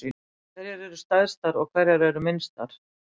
Hverjar eru stærstar og hverjar eru minnstar?